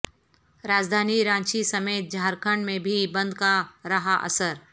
راجدھانی رانچی سمیت جھارکھنڈ میں بھی بند کا رہااثر